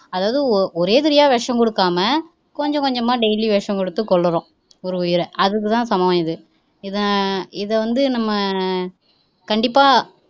அதாவது ஒரேயடியா விஷம் குடுக்காம கொஞ்சம் கொஞ்சமா daily விஷம் குடுத்து கொல்லுறோம் ஒரு உயிரை அதுக்குதான் சமம் இது இதை இதை வந்து நம்ம கண்டிப்பா